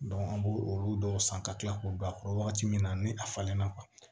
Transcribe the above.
an b'o olu dɔw san ka kila k'o bila a kɔrɔ wagati min na ni a falenna